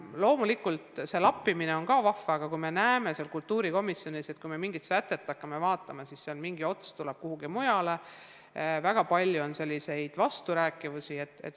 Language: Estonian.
Loomulikult ka see lappimine on vahva tegevus, aga me näeme kultuurikomisjonis sätteid analüüsides, et väga palju on vasturääkivusi.